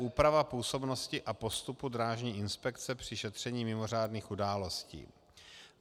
Úprava působnosti a postupu drážní inspekce při šetření mimořádných událostí.